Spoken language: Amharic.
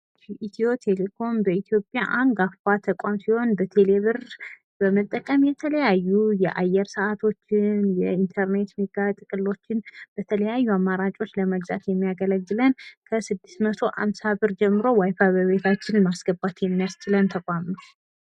ኢትዮቴሌኮም በኢትዮጵያ አንጋፋ ተቋም ሲሆን በቴሌብር በመጠቀም የተለያዩ የአየር ስዓቶችን ፣ የኢንተርኔት ሜጋ ጥቅሎችን በተለያዩ አማራጮች ለመግዛት የሚያገለግለን ፣ ከስድስት መቶ አምሳ ብር ጀምሮ " ዋይፋይ " በቤታችን ማስገባት የሚያስችለን ተቋም ነው ።